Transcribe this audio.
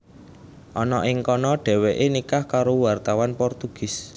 Ana ing kana Dhèwèké nikah karo wartawan Portugis